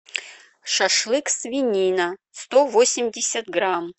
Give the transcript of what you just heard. шашлык свинина сто восемьдесят грамм